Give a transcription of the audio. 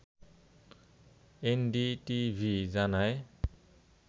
NDTV জানায়